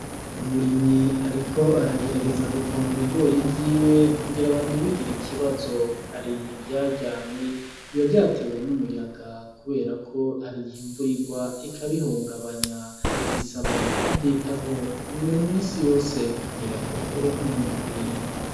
Umurimyi ariko aragerageza gupoma ibigori vyiwe kugira ngo ntibigire ikibazo ,hari ivyaryamye biba vyatewe n'umuyaga kubera ko hari igihe imvura irwa ikabihungabanya bisaba kuvyitaho buri minsi yose kugira ngo uronke umwimbu ukwiye.